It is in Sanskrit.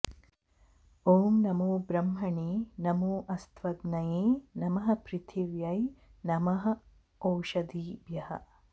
ॐ नमो ब्रह्मणे नमो अस्तव्ग्नये नमः पृथिव्यै नमः ओषधीभ्यः